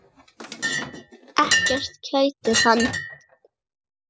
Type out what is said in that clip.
Ekkert kætir hann.